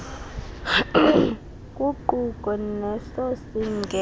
kuquka neso singeva